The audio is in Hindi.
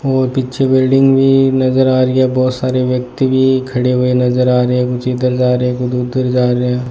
और पीछे बिल्डिंग भी नज़र आ रही है बहुत सारे व्यक्ति भी खडे हुए नज़र आ रहे है कुछ इधर जा रहे है कुछ उधर जा रहे है।